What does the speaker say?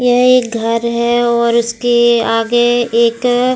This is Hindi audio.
यह एक घर है और उसके आगे एक --